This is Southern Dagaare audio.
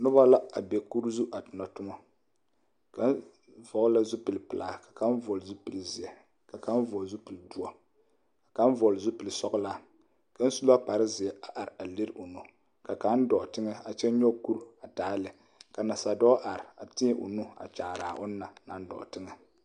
Noba la a be kuru zu a tona tomɔ kaŋ vɔglla zupile pilaa ka kaŋa vɔgle zupile zeɛ ka kaŋ vɔgl zupile doɔ ka kaŋ vɔgl zupil sɔglaa ka su la kpare zeɛ a are a lere o nu ka kaŋ dɔɔ tegɛ a kyɛ nyɔg kurua taa lɛ nasa dɔɔ are a teɛ o nu kyaaraa o na naŋ dɔɔ tegɛ.